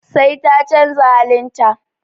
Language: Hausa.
Sai ta canza halin ta.